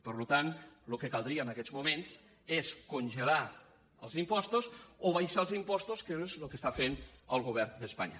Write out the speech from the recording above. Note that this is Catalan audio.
per tant el que caldria en aquests moments és congelar els impostos o abaixar els impostos que és el que està fent el govern d’espanya